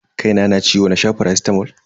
Kaina na ciwo na sha faracitamol.